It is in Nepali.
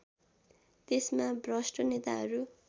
त्यसमा भ्रष्ट नेताहरू